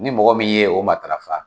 Ni mɔgɔ min ye o matarafa